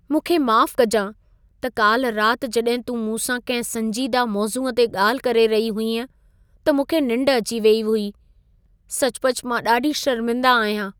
मूंखे माफ़ु कजां त काल्हि राति जड॒हिं तूं मूंसां कंहिं संजीदह मौज़ूअ ते ॻाल्हि करे रही हुईअं त मूंखे निंढ अची वेई हुई। सचुपचु मां ॾाढी शर्मिंदा आहियां।